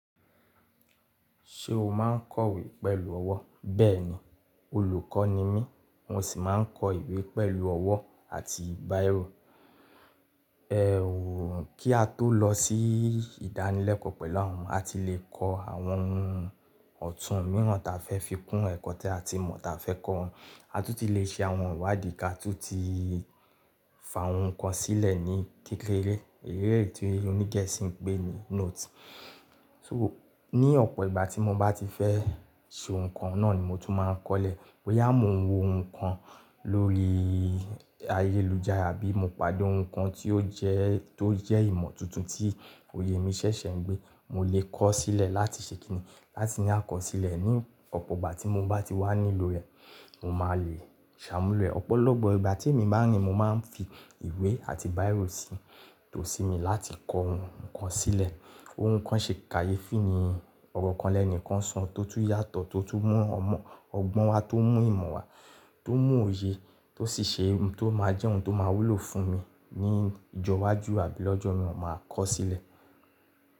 Ṣé o máa ń kọ̀wé pẹ̀lú ọwọ́? Bẹ́ẹ̀ni, olùkọ́ ni mí, mo sì máa ń kọ ìwé pẹ̀lú ọwọ́ àti biro. Ẹ̀hún, kí á tó lọ sí ìdánilẹ́kọ̀ọ́ pẹ̀lú àwọn omo, a ti lè kọ àwọn ohun ọ̀tún mìíràn ta fẹ́ fi kún ẹ̀kọ́ tí a ti mọ̀ ta fẹ́ kọ́ wọn. A tún ti lè ṣe àwọn ìwádìí ká tú ti fà ohun kan sílẹ̀ ní kékeré. Irú èyí tí oní gẹ̀ẹ́sì ń pé ní note. So ní ọ̀pọ̀ ìgbà tí mo bá ti fẹ́ ṣe ohun kan náà ni mo tún máa ń kọ́lẹ̀. Boyà mó n wo oun kan lórí ayélujára bí mo padà ohun kan tí ó jẹ́, tó jẹ́ ìmọ̀ tuntun tí òye mi ṣẹ̀ṣẹ̀ ń gbé, mo lè kọ́ sílẹ̀ láti ṣe kínní. Láti ní àkọsílẹ̀ ní ọ̀pọ̀ ìgbà tí mo bá ti wà nílò rẹ̀, mo máa lè ṣàmúlò ẹ̀. Ọ̀pọ̀lọpọ̀ ìgbà tí èmi máa ń rìn mo máa ń fi ìwé àti bírò sí, tó sí mi láti kọ ohun kan sílẹ̀. Ohun kan ṣe kàyé fún ní ọ̀rọ̀ kan lẹ́ẹ̀ní kan san tó tún yàtọ̀ tó tún mú ọmọ, ọgbọ́n wa tó mú ìmọ̀ wa tó mú òye tó sì ṣe ohun tó máa jẹ́ ohun tó máa wúlò fún mi ní ìjọwájú àbí lọ́jọ́ mii wọn máa kọ́ sílẹ̀.